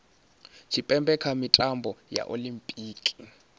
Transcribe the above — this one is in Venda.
tshipembe kha mitambo ya olimpiki